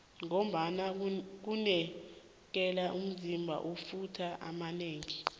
ngombana kunikela umzima amafutha amanengi